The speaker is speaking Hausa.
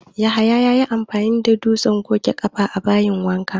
Yahaya ya yi amfani da dutsen goge ƙafa a bayin wanka